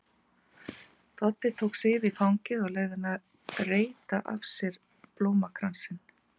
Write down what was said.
Doddi tók Sif í fangið og leyfði henni að reyta af sér blómakransinn.